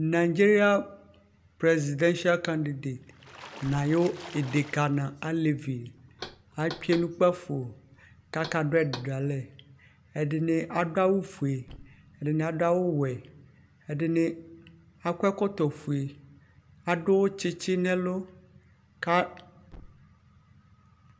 Nǝdzeria presidansɩal kandidet nʋ ayʋ idekǝ nʋ alevi, atsue nʋ kpǝfo kʋ akadʋ ɛdɩ dʋ alɛ Ɛdɩnɩ adʋ awʋfue, ɛdɩnɩ adʋ awʋwɛ, ɛdɩnɩ akɔ ɛkɔtɔfue, adʋ tsɩtsɩ nʋ ɛlʋ kʋ